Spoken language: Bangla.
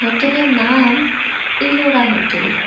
হোটেলের নাম ইলোরা হোটেল ।